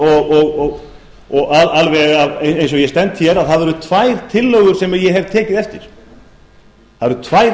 að ég geti sagt það alveg eins og ég stend hér að það eru tvær tillögur sem ég hef tekið eftir það eru tvær